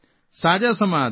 સાજા સમા હતા